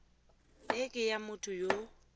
e ke ya motho yo